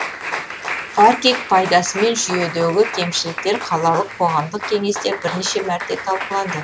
паркинг пайдасы мен жүйедегі кемшіліктер қалалық қоғамдық кеңесте бірнеше мәрте талқыланды